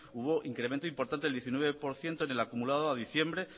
hubo incremento importante el diecinueve por ciento en el acumulado a diciembre